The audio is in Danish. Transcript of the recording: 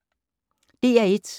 DR1